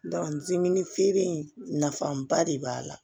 dimin feere in nafaba de b'a la